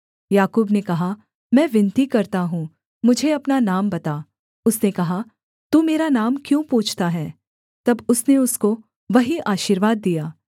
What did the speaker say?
याकूब ने कहा मैं विनती करता हूँ मुझे अपना नाम बता उसने कहा तू मेरा नाम क्यों पूछता है तब उसने उसको वहीं आशीर्वाद दिया